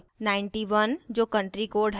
9 1 जो country code है